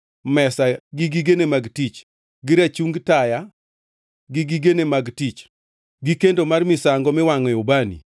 mesa gi gigene mag tich, gi rachungi taya gi gigene mag tich, gi kendo mar misango miwangʼoe ubani,